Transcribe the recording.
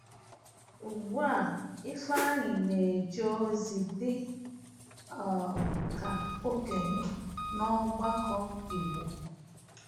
Ugbu a, Ifeanyi na-eje ozi dị um ka okenye n’ọgbakọ Igbo.